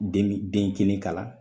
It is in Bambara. Den min den kelen kalan